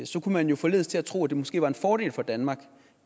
så kunne man jo forledes til at tro at det måske var en fordel for danmark